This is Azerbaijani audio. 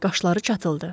Qaşları çatıldı.